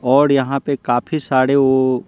और यहाँ पे काफी सारे वो--